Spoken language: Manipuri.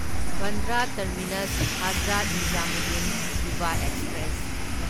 Bandra terminus Hazrat Nizamuddin Yuva express